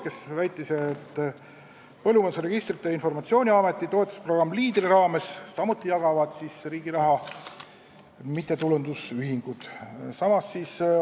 Ta väitis, et Põllumajanduse Registrite ja Informatsiooni Ameti Leader-toetusprogrammi raames jagavad samuti mittetulundusühingud riigi raha.